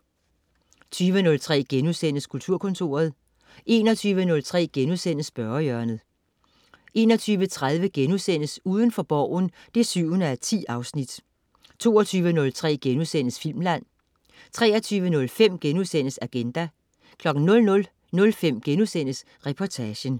20.03 Kulturkontoret* 21.03 Spørgehjørnet* 21.30 Udenfor Borgen 7:10* 22.03 Filmland* 23.05 Agenda* 00.05 Reportagen*